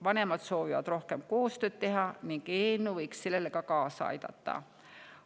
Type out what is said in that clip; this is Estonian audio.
Vanemad soovivad rohkem koostööd teha ning eelnõu võiks sellele kaasa aidata.